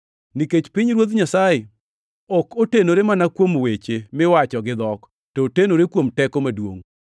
Nikech pinyruoth Nyasaye ok otenore mana kuom weche miwacho gidhok, to otenore kuom teko maduongʼ.